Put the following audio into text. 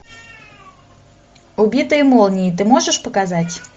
убитые молнией ты можешь показать